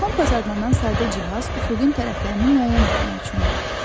Kompas adlanan sadə cihaz üfüqün tərəflərini müəyyən etmək üçündür.